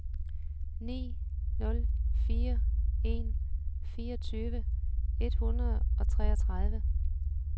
ni nul fire en fireogtyve et hundrede og treogtredive